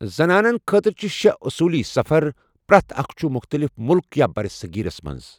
زنانَن خٲطرٕ چھِ شیہ اصوٗلی سفر، پرٮ۪تھ اکھ چھُ مُختلِف ملک یا بَرِصٔغیٖرَس منٛز۔